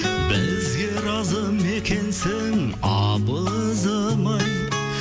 бізге разы ма екенсің абызым ай